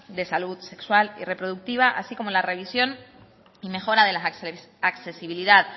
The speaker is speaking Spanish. de salud sexual y reproductiva así como la revisión y mejora de la accesibilidad